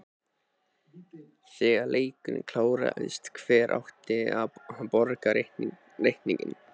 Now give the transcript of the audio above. Þegar leikurinn kláraðist, hver átti að borga reikninginn?